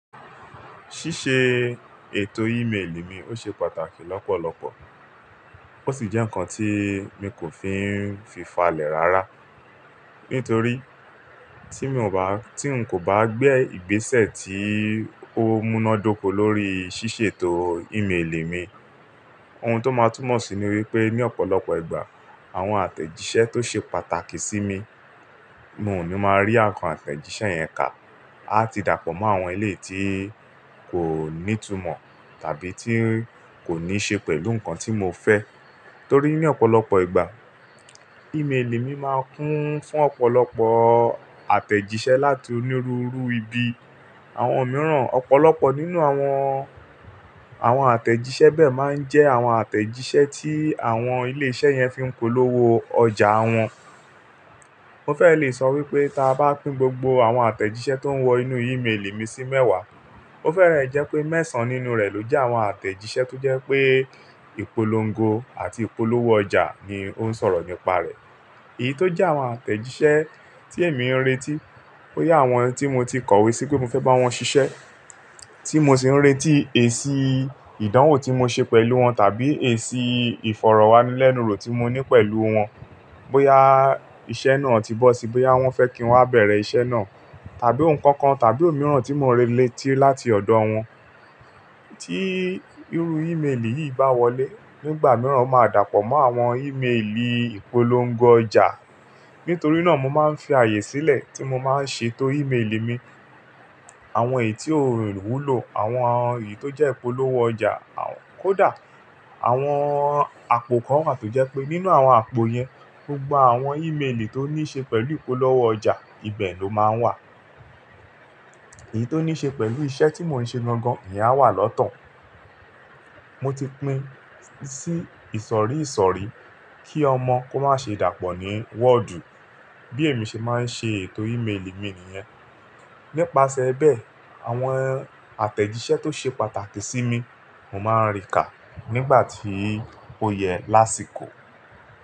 Ṣíṣe ètò e-mail mi ó ṣe pàtàkì lọ́pọ̀lọpọ̀ ó sì jẹ́ ǹkan tí mi kò fi fi fàlẹ̀ rárá. Nítorí tí mi ò bá, tí n kò bá gbé ìgbésẹ̀ tí ó múná dóko lórí ṣíṣètò e-mail mi, ohun tó máa túmọ̀ sí ní wípé ní ọ̀pọ̀lọpọ̀ ìgbà àwọn àtẹ̀jíṣẹ́ tó ṣe pàtàkì sí mi, mo ò ní máa rí àwọn àtẹ̀jíṣẹ́ yẹn kà. A ti dàpọ̀ mọ́ àwọn ilé tí kò ní ìtumọ̀ tàbí tí ǹ kó ní ṣe pẹ̀lú ǹkan tí mo fẹ́. Torí ní ọ̀pọ̀lọpọ̀ ìgbà e-mail mi máa ń kún fún ọ̀pọ̀lọpọ̀ àtẹ̀jíṣẹ́ láti onírúurú ibi. Àwọn mìíràn, ọ̀pọ̀lọpọ̀ nínú àwọn, àwọn àtẹ̀jíṣẹ́ bẹ́ẹ̀ máa ń jẹ́ àwọn àtẹ̀jíṣẹ́ tí àwọn ilé iṣẹ́ yẹn fi ń polówó ọjà wọn. Mo fẹ́ lè sọ wípé tí a bá pín gbogbo àwọn àtẹ̀jíṣẹ́ tó ń wọ inú e-mail mi sí mẹ́wàá, o fẹ́rẹ̀ ẹ jẹ́ pé mẹ́sàn-án nínú rẹ̀ ló jẹ́ àwọn àtẹ̀jíṣẹ́ tó jẹ́ pé ìpolongo àti ìpolówó ọjà ni ó ń sọ̀rọ̀ nípa rẹ̀. Èyí tó jẹ́ àwọn àtẹ̀jíṣẹ́ tí èmi ń retí, bóyá àwọn tí mo ti kọ̀wé sí pé mo fẹ́ bá wọn ṣiṣẹ́, tí mo sì ń retí èsì ìdánwò tí mo ṣe pẹ̀lú wọn tàbí èsì ìfọ̀rọ̀wánilénuro tí mo ní pẹ̀lú wọn. Bóyá iṣẹ́ náà ti bọ́ síi, bóyá wọ́n fẹ́ kí wọn bẹ̀rẹ̀ iṣẹ́ náà tàbí ǹkan kan tàbí òmíràn tí mo ń retí láti ọ̀dọ̀ wọn. Tí irú e-mail yìí bá wọlé, nígbà mìíràn ó máa dàpọ̀ mọ́ àwọn e-mail ìpolongo ọjà. Nítorí náà mo máa ń fi ààyè sílẹ̀ tí mo máa ń ṣètò e-mail mi. Àwọn èyí tí ó wúlò, àwọn èyí tó jẹ́ ìpolówó ọjà, kódà àwọn àpò kan wà tó jẹ́ pé nínú àwọn àpò yẹn, gbogbo àwọn e-mail tó ní ṣe pẹ̀lú ìpolówó ọjà, ibẹ̀ ló máa ń wà. Èyí tó ní ṣe pẹ̀lú iṣẹ́ tí mo ń ṣe lọ́gán ni a wà lọ́tàn. Mo ti pín sí ìsọ̀rí ìsọ̀rí kí ọmọ kó má ṣe dàpọ̀ ní wọ́ọ̀dù bí èmi ṣe máa ń ṣe ètò e-mail mi nìyẹn. Nípasẹ̀ bẹ́ẹ̀, àwọn àtẹ̀jíṣẹ́ tó ṣe pàtàkì sí mi, mo máa rí kà nígbà tí ó yẹ lásìkò.